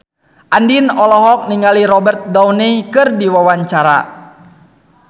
Andien olohok ningali Robert Downey keur diwawancara